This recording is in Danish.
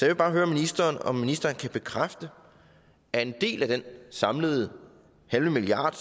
vil bare høre ministeren om ministeren kan bekræfte at en del af den samlede halve milliard